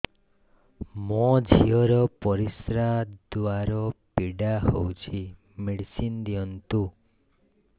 ମୋ ଝିଅ ର ପରିସ୍ରା ଦ୍ଵାର ପୀଡା ହଉଚି ମେଡିସିନ ଦିଅନ୍ତୁ